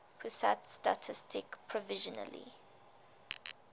pusat statistik provisionally